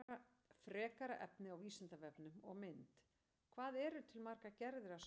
Frekara lesefni á Vísindavefnum og mynd Hvað eru til margar gerðir af sálfræði?